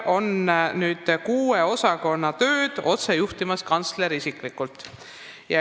Kuue osakonna tööd juhib nüüd kantsler isiklikult.